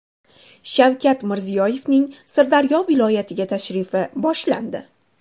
Shavkat Mirziyoyevning Sirdaryo viloyatiga tashrifi boshlandi.